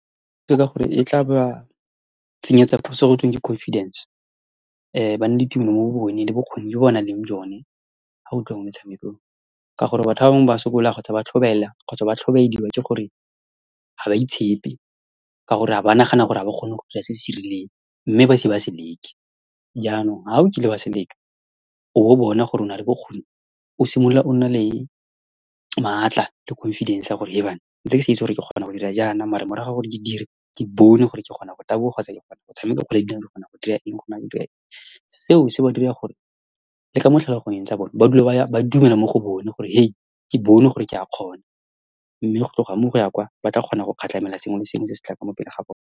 Ke ka gore e tla ba tsenyetsa gotweng ke confidence, ba nne le tumelo mo go bone le bokgoni jo ba nang le jone ha go tliwa mo metshamekong. Ka gore batho ba bangwe ba sokola, kgotsa ba tlhobaela, kgotsa ba tlhobaediwa ke gore ha ba itshepe, ka gore ha ba nagana gore ha ba kgone go dira se se rileng, mme ba ise ba se leke. Jaanong ha o kile wa se leka, o bo o bona gore ona le bokgoni, o simolola o nna le maatla le confidence ya gore, Hebanna! ntse ke sa itse gore ke kgona go dira jaana, mare morago ga gore ke dire, ke bone gore ke kgona go taboga, kgotsa ke kgona go tshameka kgwele ya dinao, ke kgona go dira eng, ke kgona go dira , seo se ba dira gore le mo ditlhaloganyong tsa bone, ba dula ba ya, ba dumela mo go bone, gore ke bone, gore ke a kgona. Mme go tloga mo, go ya kwa batla kgona go sengwe le sengwe se se mo pele ga bone.